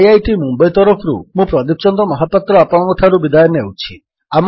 IIT Mumbai ତରଫରୁ ମୁଁ ପ୍ରଦୀପ ଚନ୍ଦ୍ର ମହାପାତ୍ର ଆପଣଙ୍କଠାରୁ ବିଦାୟ ନେଉଛି